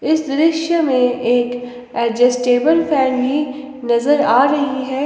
इस दृश्य में एक एडजस्टेबल फैन भी नजर आ रही है।